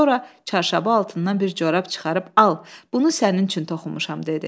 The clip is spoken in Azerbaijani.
Sonra çarşabı altından bir corab çıxarıb al, bunu sənin üçün toxumuşam dedi.